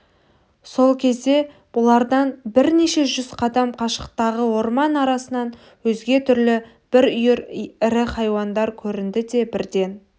сол кезде бұлардан бірнеше жүз қадам қашықтағы орман арасынан өзге түрлі бір үйір ірі хайуандар көрінді де бірден